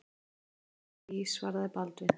Ég lofa því, svaraði Baldvin.